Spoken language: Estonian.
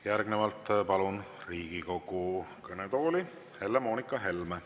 Järgnevalt palun Riigikogu kõnetooli Helle-Moonika Helme.